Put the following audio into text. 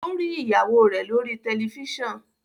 o ri ìyàwó rẹ lori Tẹlifísàn.